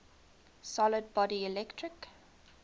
solid body electric